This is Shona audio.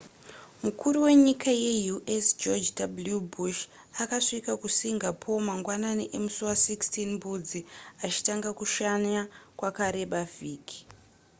mukuru wenyika ye u.s george w. bush akasvika kusingapore mangwanani emusi wa16 mbudzi achitanga kushanya kwakareba vhiki